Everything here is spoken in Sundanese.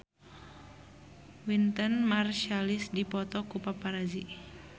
Wynton Marsalis dipoto ku paparazi